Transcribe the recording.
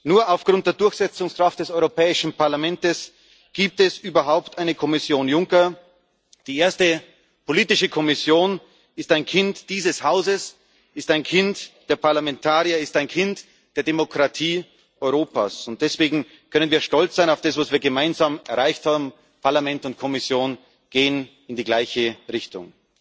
Nur aufgrund der Durchsetzungskraft des Europäischen Parlaments gibt es überhaupt eine Kommission Juncker. Die erste politische Kommission ist ein Kind dieses Hauses, ist ein Kind der Parlamentarier, ist ein Kind der Demokratie Europas, und deswegen können wir stolz auf das sein, was wir gemeinsam erreicht haben Parlament und Kommission gehen in die gleiche Richtung.